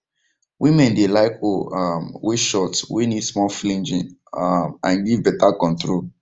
women dey like hoe um way short way need small flinging um and give beta control